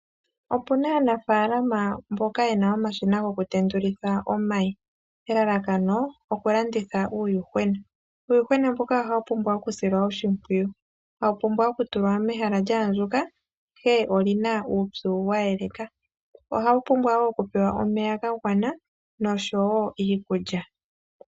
Opu na aanafaalama mboka ye na omashina gokutendulitha omayi elalakano okulanditha uuyuhwena. Uuyuhwena mbuka ohawu pumbwa okusilwa oshimpwiyu, hawu pumbwa okutulwa mehala lya andjuka ihe oli na uupyu wa eleka, ohawu pumbwa wo okupewa omeya ga gwana nosho wo iikulya.